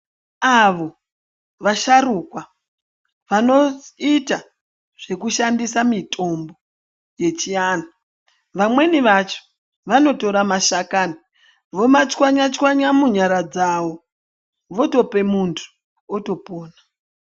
Avo vasharukwa vanoita zvekushandisa mitombo yechianhu. Vamweni vacho vanotora mashakani vomachwanya-chwanya munyara dzavo, votope muntu, otopona, .